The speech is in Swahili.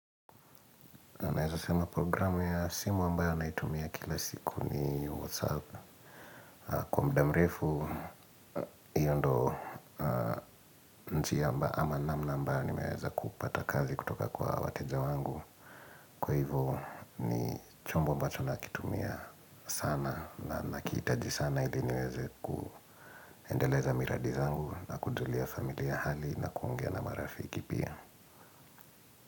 Naam naweza sema programu ya simu ambayo naitumia kila siku ni WhatsApp. Kwa muda mrefu, hiyo ndio njia mbayo ama namna ambayo, nimeweza kupata kazi kutoka kwa wateja wangu. Kwa hivyo ni chombo mbacho nakitumia sana na nakihitaji sana ili niweze kuendeleza miradi zangu na kujulia familia hali na kuongea na marafiki pia.